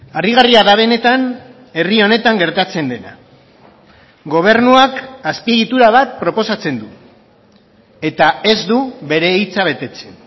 harrigarria da benetan herri honetan gertatzen dena gobernuak azpiegitura bat proposatzen du eta ez du bere hitza betetzen